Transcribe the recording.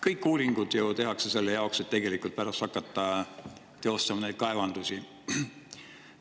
Kõik uuringud tehakse ju selle jaoks, et tegelikult pärast hakata teostama neid kaevamisi.